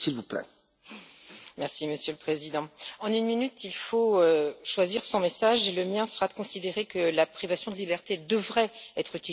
Monsieur le Président, en une minute, il faut choisir son message, et le mien sera de considérer que la privation de liberté devrait être utilisée pour protéger la société.